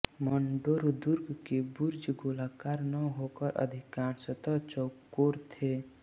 मण्ड़ोर दुर्ग के बुर्ज गोलाकार न होकर अधिकांशतः चौकोर थे